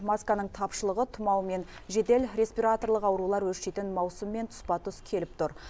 масканың тапшылығы тұмау мен жедел респираторлық аурулар өршитін маусыммен тұспа тұс келіп тұр